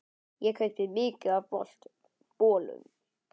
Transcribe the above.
Ég kaupi mikið af bolum.